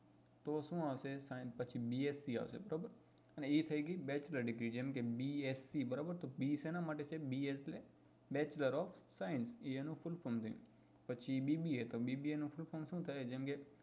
તો શું હશે science પછી bsc આવશે બરોબર અને એ થઇ ગઈ bachelor degree જેમ કે bsc બરોબર તો b સેના માટે છે b એટલે bachelor of sciience તો એ એનું fulll form થઇ ગયું પછી bba તો bba નું full form શું થાય જેમ કે